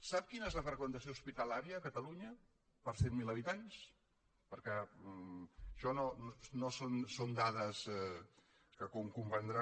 sap quina és la freqüentació hospitalària a catalunya per cent miler habitants perquè això són dades que com comprendrà